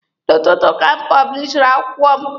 N'ụtụtụ ka m pọblishiri akwụkwọ m.